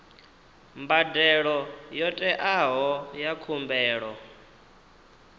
mbadelo yo teaho ya khumbelo